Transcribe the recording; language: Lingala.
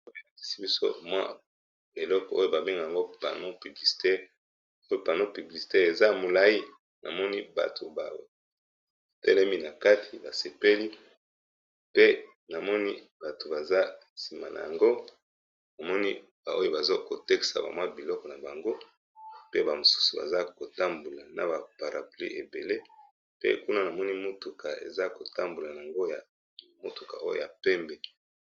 Oyo ba lakisi biso oyo mwa eloko oyo ba benga yango panneau publicitaire, panneau publicitaire eza molayi, na moni bato ba telemi na kati ba sepeli pe na moni bato baza sima na yango na moni ba oyo baza ko teksa ba mwa biloko na bango pe ba mosusu baza ko tambola na ba para pluie ébélé pe kuna na moni motuka eza ko tambola na yango ya motuka oyo ya pembe .